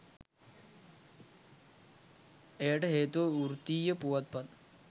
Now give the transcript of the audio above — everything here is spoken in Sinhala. එයට හේතුව වෘත්තීය පුවත්පත්